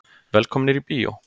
Velkomnir í bíó.